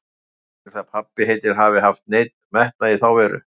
Ég veit ekki til þess að pabbi heitinn hafi haft neinn metnað í þá veru.